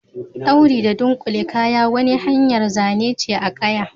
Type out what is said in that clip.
Dauri da dunkule kaya, wanni hanyar Zane ce a kaya.